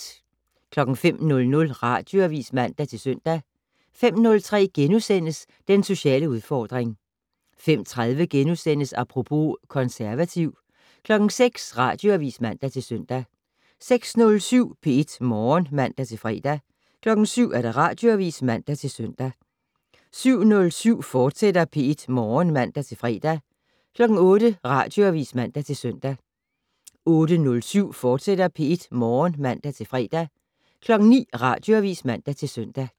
05:00: Radioavis (man-søn) 05:03: Den sociale udfordring * 05:30: Apropos - konservativ * 06:00: Radioavis (man-søn) 06:07: P1 Morgen (man-fre) 07:00: Radioavis (man-søn) 07:07: P1 Morgen, fortsat (man-fre) 08:00: Radioavis (man-søn) 08:07: P1 Morgen, fortsat (man-fre) 09:00: Radioavis (man-søn)